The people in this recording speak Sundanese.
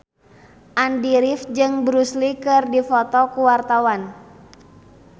Andy rif jeung Bruce Lee keur dipoto ku wartawan